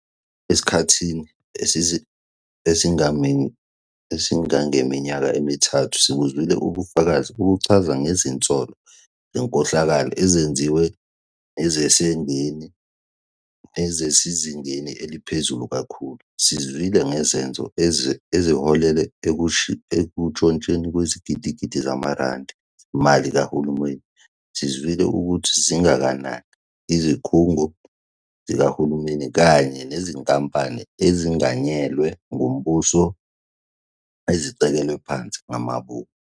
Esikhathini esingangeminyaka emithathu, sibuzwile ubufakazi obuchaza ngezinsolo zenkohlakalo ezenziwe nezisezingeni eliphezulu kakhulu. Sizwile ngezenzo eziholele ekuntshontshweni kwezigidigidi zamarandi zemali kahulumeni. Sizwile ukuthi zingakanani izikhungo zikahulumeni kanye nezinkampani ezenganyelwe ngumbuso ezicekelwe phansi ngamabomu.